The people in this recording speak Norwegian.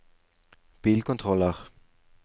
bilkontroller